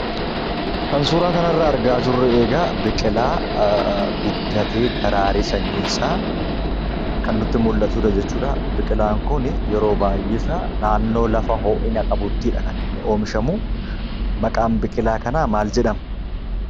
kan suuraa kanarraa argaa jirru egaa biqilaa guddatee daraaree sanyiinsaa kan nutti mul'atudha jechuudha. biqilaan kun yeroo baayyeesaa naannoo lafa hoo'ina qabuttidha kan inni oomishamu, maqaan biqilaa kanaa kaal jedhama?